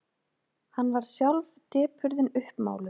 Hann varð sjálf depurðin uppmáluð.